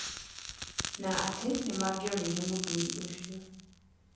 Na atĩ nĩ mangiorĩire mũthuri ũcio.